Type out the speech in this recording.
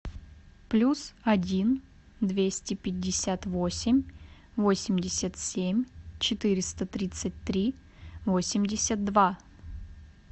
плюс один двести пятьдесят восемь восемьдесят семь четыреста тридцать три восемьдесят два